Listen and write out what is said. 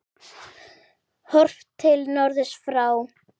Horft til norðurs frá